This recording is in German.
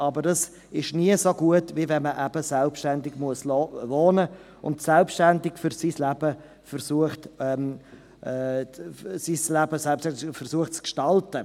Dies ist aber nie so gut, wie wenn man selbstständig wohnen muss und selbstständig versucht, sein Leben zu gestalten.